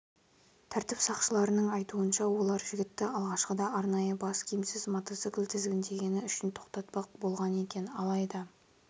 тәртіп сақшыларының айтуынша олар жігітті алғашқыда арнайы бас киімсіз мотоцикл тізгіндегені үшін тоқтатпақ болған екен алайда